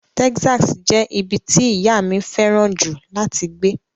Texas jẹ́ ibi tí ìyá mi fẹ́ràn jù láti gbé.